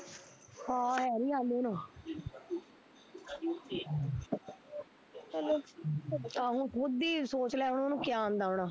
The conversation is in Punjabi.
ਹਾਂ ਹੈਨੀ ਆਉਂਦੇ ਉਹਨੂੰ ਆਹ ਤੂੰ ਖੁਦ ਈ ਸੋਚਲੈ ਉਹਨੂੰ ਕਿਆ ਆਉਂਦਾ ਹੋਣਾ